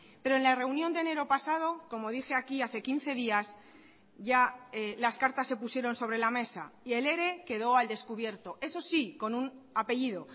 pero en la reunión de enero pasado como dije aquí hace quince días ya las cartas se pusieron sobre la mesa y el ere quedó al descubierto eso sí con un apellido